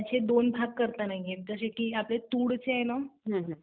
त्याचे दोन भाग नाही करता येत. जसं आपलं तूर आहे ना